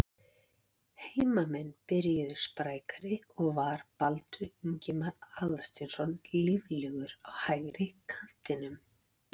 Heimamenn byrjuðu sprækari og var Baldur Ingimar Aðalsteinsson líflegur á hægri kantinum.